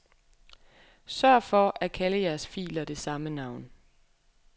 Sørg for at kalde jeres filer det samme navn.